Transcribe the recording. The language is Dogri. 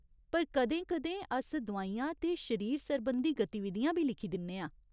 पर कदें कदें अस दोआइयां ते शरीर सरबंधी गतिविधियां बी लिखी दिन्ने आं।